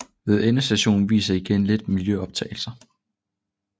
Ved endestationen vises igen lidt miljøoptagelser